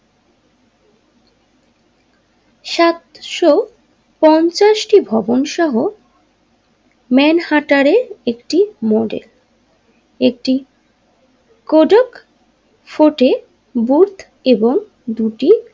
সত্য পঞ্চাশটি ভবন সহ মানহারটারের একটি মডেল একটি কোডাক ফোর্টে বুট এবং দুটি।